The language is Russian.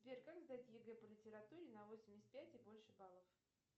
сбер как сдать егэ по литературе на восемьдесят пять и больше баллов